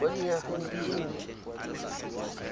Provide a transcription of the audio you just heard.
mo dinyageng di le nne